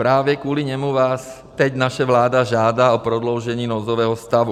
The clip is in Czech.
Právě kvůli němu vás teď naše vláda žádá o prodloužení nouzového stavu.